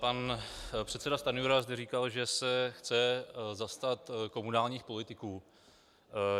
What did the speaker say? Pan předseda Stanjura zde říkal, že se chce zastat komunálních politiků.